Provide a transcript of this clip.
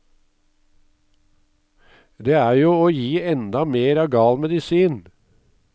Det er jo å gi enda mer av gal medisin.